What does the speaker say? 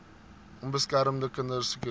onbeskermde kinders sirkuleer